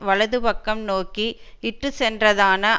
வலது பக்கம் நோக்கி இட்டு சென்றதான